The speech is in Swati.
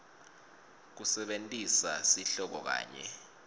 kusebentisa sihloko kanye